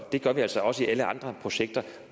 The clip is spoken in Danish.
det gør vi altså også i alle andre projekter